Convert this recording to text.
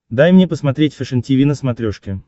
дай мне посмотреть фэшен тиви на смотрешке